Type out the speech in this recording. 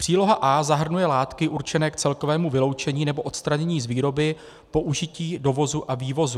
Příloha A zahrnuje látky určené k celkovému vyloučení nebo odstranění z výroby, použití, dovozu a vývozu.